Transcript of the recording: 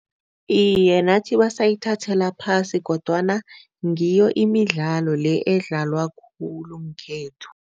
Iye, nathi basayithathela phasi kodwana ngiyo imidlalo le edlalwa khulu ngekhethu.